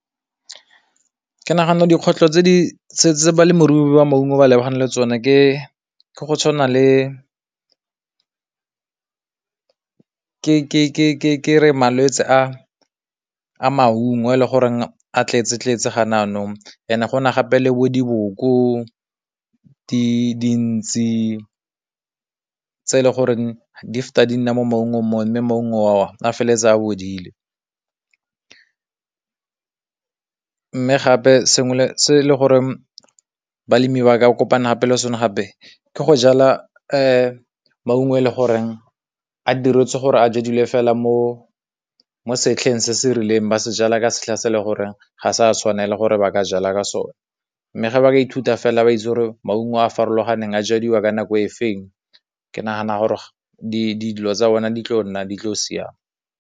Ke nagana dikgwetlho tse di ba maungo ba lebagane le tsone ke go tshwana le malwetse a maungo a le gore a tletse tletse gone yanong, ene gona gape le bo diboko, dintshi tse e leng gore di di nna mo maungo, o ne maungo a feleletse a bodile. Mme gape sengwe se le gore balemi ba ka kopana gape le sone gape, ke go jala maungo le gore a diretswe gore a fela mo setlheng se se rileng, ba se jala ka setlha se le gore ga sa tshwanela gore ba ka jala ka sone, mme ga ba ithuta fela ba [? maungo a a farologaneng a jadiwa ka nako e feng, ke nagana gore dilo tsa bona di tlo nna di tlo siame.